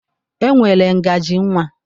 E nwere ngaji nwa.